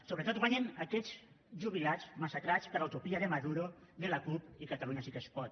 sobretot guanyen aquests jubilats massacrats per la utopia de maduro de la cup i catalunya sí que es pot